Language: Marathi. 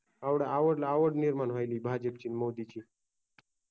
आवड निर्माण व्हायली भाजपची न मोदींची